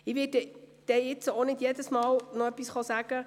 Ich werde mich nicht zu jedem Antrag einzeln äussern.